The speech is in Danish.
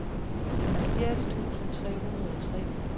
halvfjerds tusind tre hundrede og tre